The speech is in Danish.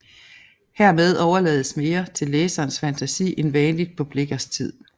Herved overlades mere til læserens fantasi end vanligt på Blichers tid